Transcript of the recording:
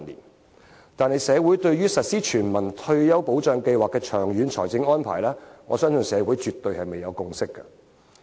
但是，我相信社會對於實施全民退休保障計劃的長遠財政安排，卻尚未達致共識。